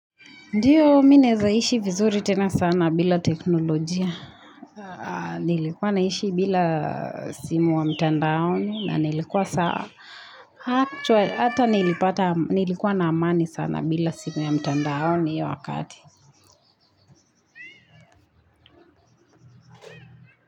Ndiyo mimi naezaishi vizuri tena sana bila teknolojia, nilikuwa naishi bila simu wa mtandaoni na nilikuwa saa. Hata nilipata nilikuwa na amani sana bila simu ya mtandaaoni hiyo wakati.